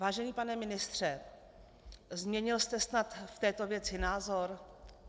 Vážený pane ministře, změnil jste snad v této věci názor?